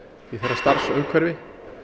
í þeirra starfsumhverfi